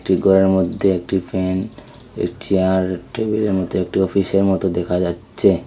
একটি গরের মধ্যে একটি ফ্যান এ চেয়ার টেবিলের মতো একটি অফিসের মতো দেখা যাচ্চে।